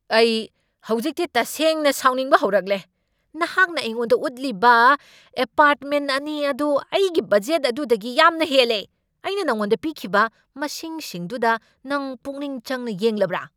ꯑꯩ ꯍꯧꯖꯤꯛꯇꯤ ꯇꯁꯦꯡꯅ ꯁꯥꯎꯅꯤꯡꯕ ꯍꯧꯔꯛꯂꯦ꯫ ꯅꯍꯥꯛꯅ ꯑꯩꯉꯣꯟꯗ ꯎꯠꯈꯤꯕ ꯑꯦꯄꯥꯔ꯭ꯠꯃꯦꯟ ꯑꯅꯤ ꯑꯗꯨ ꯑꯩꯒꯤ ꯕꯗꯖꯦꯠ ꯑꯗꯨꯗꯒꯤ ꯌꯥꯝꯅ ꯍꯦꯜꯂꯦ꯫ ꯑꯩꯅ ꯅꯉꯣꯟꯗ ꯄꯤꯈꯤꯕ ꯃꯁꯤꯡꯁꯤꯡꯗꯨꯗ ꯅꯪ ꯄꯨꯛꯅꯤꯡꯆꯪꯅ ꯌꯦꯡꯂꯕ꯭ꯔꯥ?